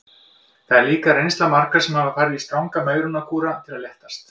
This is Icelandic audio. Þetta er líka reynsla margra sem hafa farið í stranga megrunarkúra til að léttast.